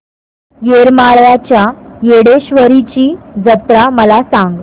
येरमाळ्याच्या येडेश्वरीची जत्रा मला सांग